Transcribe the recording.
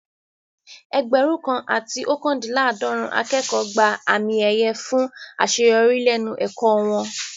Ẹgbẹ̀rún kan àti ookandinlaadorun akẹ́kọ̀ọ́ gba àmì ẹ̀yẹ fún àṣeyọrí lẹ́nu ẹ̀kọ́ wọn